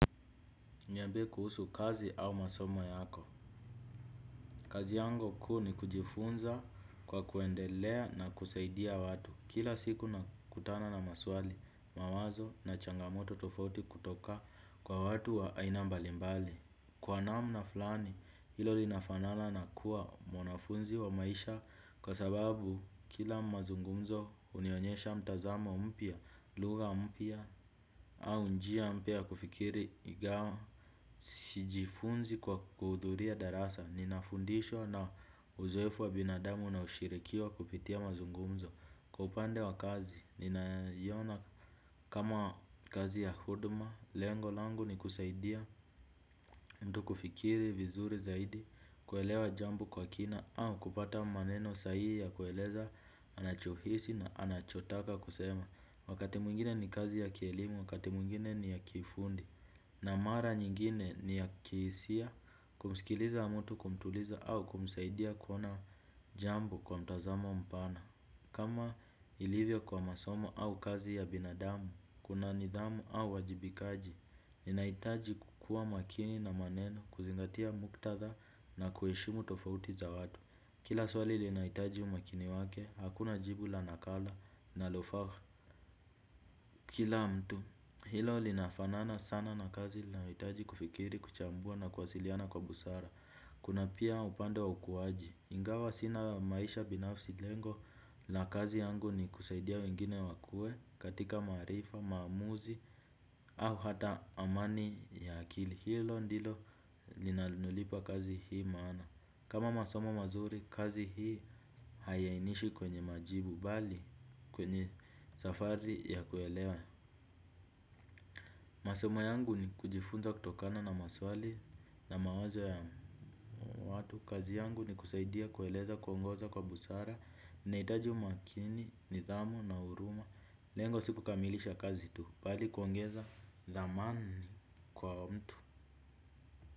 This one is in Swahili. Niambie kuhusu kazi au masomo yako. Kazi yangu kuu ni kujifunza kwa kuendelea na kusaidia watu. Kila siku nakutana na maswali, mawazo na changamoto tofauti kutoka kwa watu wa aina mbalimbali. Kwa namna fulani, hilo linafanana na kuwa mwanafunzi wa maisha kwa sababu kila mazungumzo unionyesha mtazamo mpya, lugha mpya, au njia mpya kufikiri ingawa. Sijifunzi kwa kuhudhuria darasa. Ninafundishwa na uzoefu wa binadamu na ushirikiwa kupitia mazungumzo. Kwa upande wa kazi, ninaiona kama kazi ya huduma. Lengo langu ni kusaidia mtu kufikiri vizuri zaidi. Kuelewa jambo kwa kina au kupata maneno sahihi ya kueleza anachohisi na anachotaka kusema. Wakati mwingine ni kazi ya kielimu, wakati mwingine ni ya kifundi na mara nyingine ni ya kihisia kumsikiliza mtu kumtuliza au kumsaidia kuona jambo kwa mtazamo mpana. Kama ilivyo kwa masomo au kazi ya binadamu, kuna nidhamu au uwajibikaji. Ninahitaji kukuwa makini na maneno kuzingatia muktadha na kuheshimu tofauti za watu. Kila swali linahitaji umakini wake, hakuna jibu la nakala linalofaa. Kila mtu, hilo linafanana sana na kazi inayohitaji kufikiri, kuchambua na kwasiliana kwa busara. Kuna pia upande wa ukuaji. Ingawa sina maisha binafsi lengo la kazi yangu ni kusaidia wengine wakuwe, katika maarifa, maamuzi, au hata amani ya akili. Hilo ndilo linalonipa kazi hii maana. Kama masomo mazuri, kazi hii haiyainishi kwenye majibu bali, kwenye safari ya kuelewa. Masomo yangu ni kujifunza kutokana na maswali na mawazo ya watu. Kazi yangu ni kusaidia kueleza kuongoza kwa busara. Nahitaji umakini, nidhamu na huruma. Lengo sikukamilisha kazi tu bali kuongeza dhamani kwa mtu.